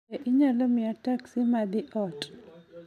Be inyalo miya teksi ma dhi ot